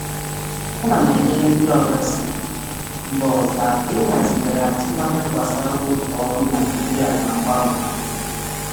um Ana m enyere ndị oga si mba ọzọ aka ịhazigharị atụmanya gbasara oge ọrụ um Naịjirịa na mgbanwe.